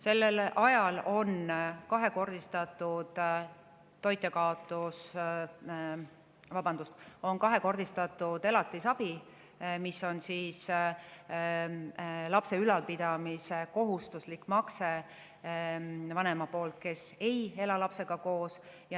Sellel ajal on kahekordistatud elatisabi, mis on lapse ülalpidamise kohustuslik makse vanema eest, kes ei ela lapsega koos.